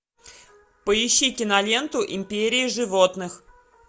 поищи киноленту империя животных